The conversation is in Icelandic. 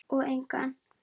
Og engan.